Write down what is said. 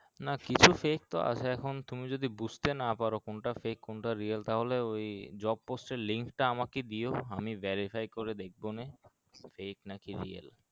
না কিছু fake তো আছে এখন তুমি যদি বুসতে না পারো কোনটা fake কোনটা real তাহলে ওই job post এর link টা আমাকে দিও আমি verify করে দেখবোনি fake নাকি real